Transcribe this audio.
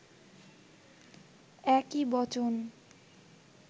একই বচন